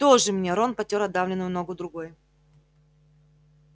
тоже мне рон потёр отдавленную ногу другой